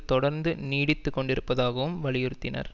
தொடர்ந்து நீடித்துக்கொண்டிருப்பதாகவும் வலியுறுத்தினார்